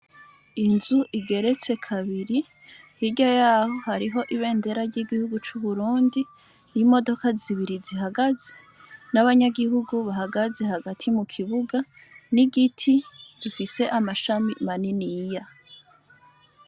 Inzu igeretse kabiri hirya yaho hariho ibendera ry'igihugu c'uburundi, imodoka zibiri zihagaze n'abanyagihugu bahagaze hagati mukibuga, n'igiti gifise amashami maniniya.